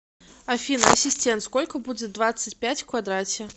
афина ассистент сколько будет двадцать пять в квадрате